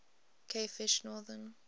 cavefish northern